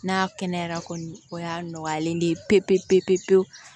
N'a kɛnɛyara kɔni o y'a nɔgɔyalen ye pewu pewu pewu